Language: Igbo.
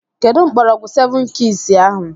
Kedụ mgbọrọgwụ sevụn kiis ahụ?